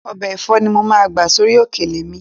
Ọbẹ̀ ẹ̀fọ́ ni mo máa gbà sórí òkèlè mi